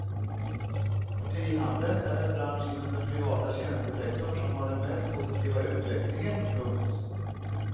Partihandeln är den bransch inom den privata tjänstesektorn som har den mest positiva utvecklingen. punkt